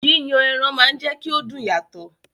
Yíyan ẹran máa ń jẹ́kí ó dùn yàtọ̀